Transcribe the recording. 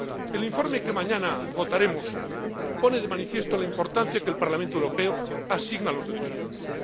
El informe que mañana votaremos pone de manifiesto la importancia que el Parlamento Europeo asigna a los derechos humanos